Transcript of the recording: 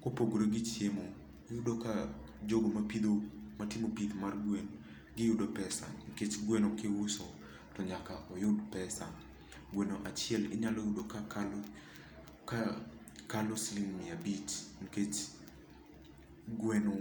Kopogore gi chiemo iyudo ka, jogo mapidho, matimo pith mar gwen, giyudo pesa nikech gweno kuiso, to nyaka oyud pesa. Gweno achiel inyalo yudo ka kalo, ka kalo siling' mia abich nikech gweno